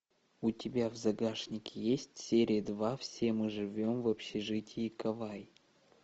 у тебя в загашнике есть серия два все мы живем в общежитии кавай